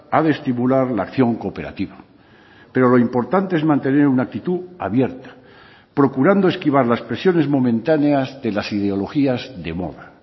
ha de estimular la acción cooperativa pero lo importante es mantener una actitud abierta procurando esquivar las presiones momentáneas de las ideologías de moda